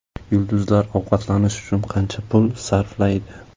Yulduzlar ovqatlanish uchun qancha pul sarflaydi?.